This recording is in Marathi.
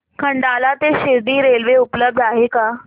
खंडाळा ते शिर्डी रेल्वे उपलब्ध आहे का